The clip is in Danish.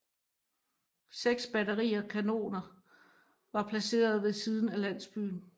Seks batterier kanoner var placeret ved siden af landsbyen